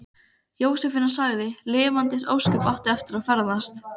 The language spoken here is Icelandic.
Jósefína sagði: Lifandis ósköp áttu eftir að ferðast.